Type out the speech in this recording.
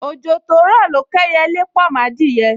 Ojo to ro lo k’eyele po m’adiye